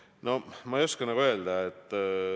No ma ei oska öelda.